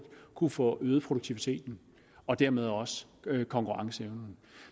kunne få øget produktiviteten og dermed også konkurrenceevnen